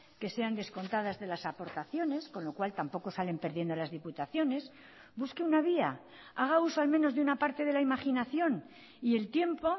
que sean descontadas de las aportaciones con lo cual tampoco salen perdiendo las diputaciones busque una vía haga uso al menos de una parte de la imaginación y el tiempo